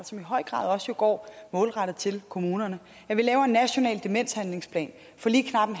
som i høj grad også går målrettet til kommunerne vi laver en national demenshandlingsplan for lige knap